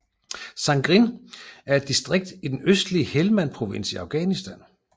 Sangin er et distrikt i den østlige Helmand Provins i Afghanistan